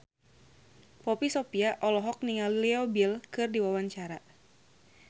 Poppy Sovia olohok ningali Leo Bill keur diwawancara